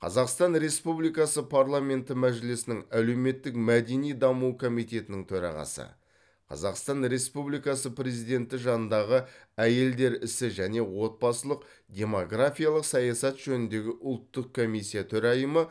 қазақстан республикасы парламенті мәжілісінің әлеуметтік мәдени даму комитетінің төрағасы қазақстан республикасы президенті жанындағы әйелдер ісі және отбасылық демгорафиялық саясат жөніндегі ұлттық комиссия төрайымы